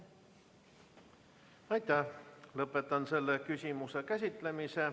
Lõpetan selle küsimuse käsitlemise.